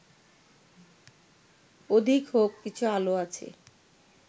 অধিক হউক, কিছু আলো আছে